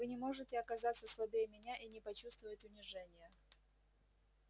вы не можете оказаться слабее меня и не почувствовать унижения